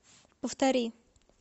повтори